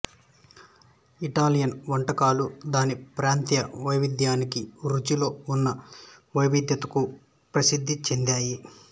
Italian వంటకాలు దాని ప్రాంతీయ వైవిధ్యానికి రుచిలో ఉన్న వైవిధ్యతకు ప్రసిద్ధి చెందాయి